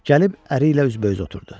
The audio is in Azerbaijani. Gəlib əri ilə üzbəüz oturdu.